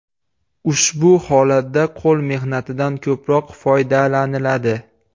Ushbu holatda qo‘l mehnatidan ko‘proq foydalaniladi.